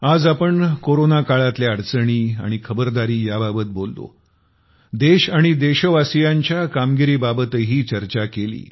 आज आपण कोरोना काळातल्या अडचणी आणि खबरदारी याबाबत बोललो देश आणि देशवासीयांच्या कामगिरी बाबतही चर्चा केली